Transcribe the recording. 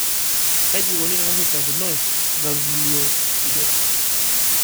Kaji eikoni teneshurtakinoi gangliosidosis?